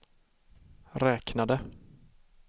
räknade